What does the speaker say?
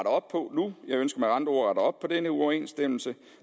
op på nu jeg ønsker med andre ord at rette op på denne uoverensstemmelse